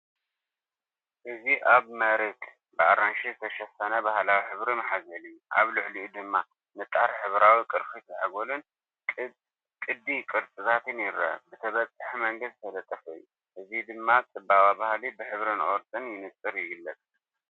እዚ ኣብ መሬት ብኣራንሺ ዝተሸፈነ ባህላዊ ማሕዘል እዩ። ኣብ ልዕሊኡ ድማ ንጣር ሕብራዊ ቅርፊት ዛዕጎልን ቅዲ ቅርጽታትን ይርአ፣ ብተበጻሒ መንገዲ ዝተለጠፈ እዩ። እዚ ድማ ጽባቐ ባህሊ ብሕብርን ቅርጽን ብንጹር ይግለጽ።